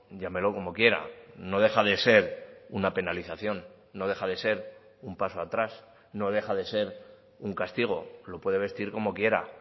llámelo como quiera no deja de ser una penalización no deja de ser un paso atrás no deja de ser un castigo lo puede vestir como quiera